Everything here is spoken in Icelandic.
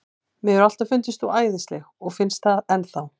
Mér hefur alltaf fundist þú æðisleg og finnst það enn þá.